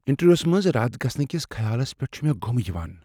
انٹرویوس منٛز رد گژھنہٕ کس خیالس پیٹھ چھ مےٚ گُمہٕ یوان۔